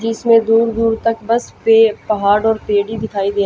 जिसमें दूर दूर तक बस पे पहाड़ और पेड़ ही दिखाई दे--